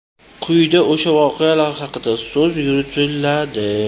Quyida o‘sha voqealar haqida so‘z yuritiladi.